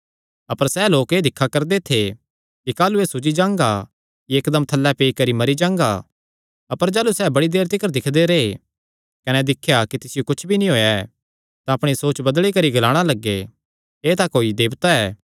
अपर सैह़ लोक एह़ दिक्खा करदे थे कि काह़लू एह़ सूज्जी जांगा या इक्कदम थल्लैं पेई करी मरी जांगा अपर जाह़लू सैह़ बड़ी देर तिकर दिक्खदे रैह् कने दिख्या कि तिसियो कुच्छ भी नीं होएया तां अपणी सोच बदली करी ग्लाणा लग्गे एह़ तां कोई देवता ऐ